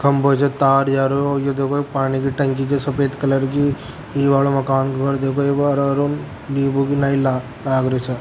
खम्बो से तार जारो यो देखो एक पानी के टंकी जे सफेद कलर की ई वाल मकान घर ने देखो लाग रो छे।